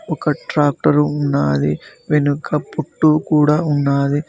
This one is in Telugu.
ఒక ట్రాక్టర్ ఉన్నాది వెనుక పుట్టూ కూడా ఉన్నాది.